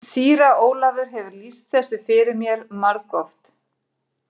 Síra Ólafur hefur lýst þessu fyrir mér margoft.